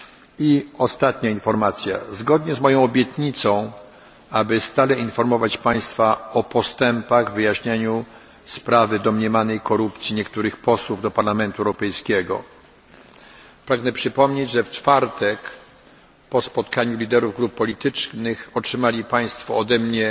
I ostatnia informacja zgodnie z moją obietnicą, aby stale informować Państwa o postępach w wyjaśnianiu sprawy domniemanej korupcji niektórych posłów do Parlamentu Europejskiego, pragnę przypomnieć, że w czwartek po spotkaniu liderów grup politycznych otrzymali Państwo ode